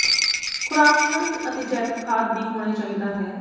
ਖ਼ੁਰਾਕ ਖਣਿਜ ਅਤੇ ਜੈਵਿਕ ਖਾਦ ਦੀ ਹੋਣੇ ਚਾਹੀਦਾ ਹੈ